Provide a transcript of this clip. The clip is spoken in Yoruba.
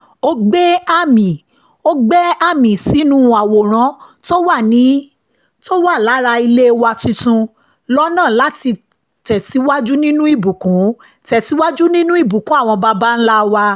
ó gbẹ́ àmì sínú àwòrán tó wà lára ilé wa tuntun lọ́nà láti tẹ̀síwájú nínú ìbùkún tẹ̀síwájú nínú ìbùkún àwọn baba ńlá wa